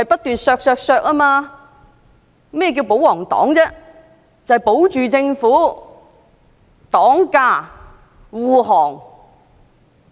顧名思義，"保皇黨"必須保護政府，為政府擋駕、護航。